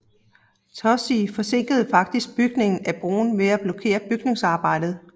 Toosey forsinkede faktisk bygningen af broen ved at blokere bygningsarbejdet